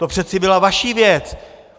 To přece byla vaše věc.